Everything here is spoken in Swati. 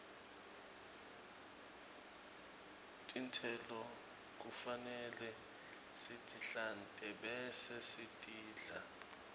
tistelo kufanele sitihlante bese sitidla